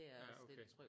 Ja okay